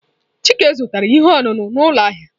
Chike zụtara ihe ọṅụṅụ n'ụlọ ahịa.